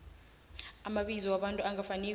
amabizo wabantu angafaniko